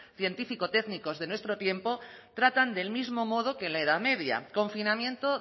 científico técnicos de nuestro tiempo tratan del mismo modo que en la edad media confinamiento